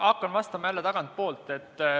Hakkan vastama jälle tagantpoolt.